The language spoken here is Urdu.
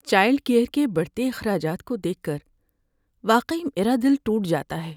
چائلڈ کیئر کے بڑھتے اخراجات کو دیکھ کر واقعی میرا دل ٹوٹ جاتا ہے۔